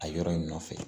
A yɔrɔ in nɔfɛ